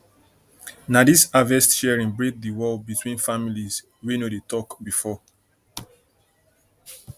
na dis harvest sharing break di wall between families wey no dey talk before